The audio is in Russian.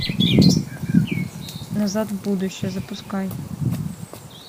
назад в будущее запускай